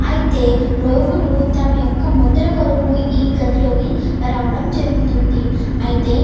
ఇది చుడానికి చాల బాగుంది. ఇంకా మనకి చాల ప్యాగ ఉంది.